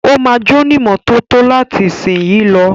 Ó máa jónímọ́tótó láti ìsìnyí lọ.